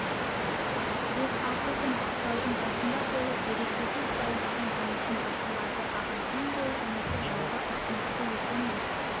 бес-алты күн қыстаудың басында болып берекесіз бәлдірдің жұмысын бақылады ағасынан гөрі інісі жалбыр ұсынықты екен бір